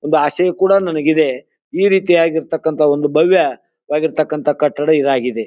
ಒಂದು ಆಸೆಯೂ ಕೂಡ ನನಗೆ ಇದೆ ಈ ರೀತಿ ಆಗಿರ್ತಕಂತ ಒಂದು ಭವ್ಯ ವಾಗಿರ್ತಕಂತ ಕಟ್ಟಡ ಇದಾಗಿದೆ.